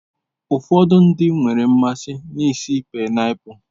Ụfọdụ ndị nwere mmasị na ísì painiapulu.